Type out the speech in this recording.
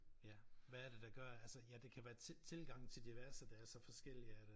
Ja hvad er det der gør altså ja det kan være til tilgange til diverse der så forskellig at øh